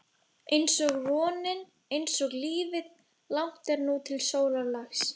einsog vonin, einsog lífið- langt er nú til sólarlags.